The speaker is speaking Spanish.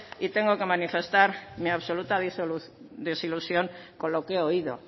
y tengo que manifestar mi absoluta desilusión con lo que he oído